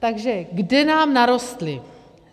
Takže kde nám narostli?